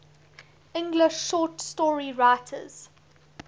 english short story writers